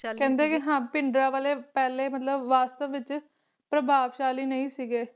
ਕਹਿੰਦੇ ਵੀ ਹਾਂ ਭਿੰਡਰਾਂਵਾਲੇ ਪਹਿਲੇ ਮਤਲਬ ਵਾਸਤਵ ਵਿੱਚ ਪ੍ਰਭਾਵ ਸ਼ੈਲੀ ਨਹੀਂ ਸੀਗੇ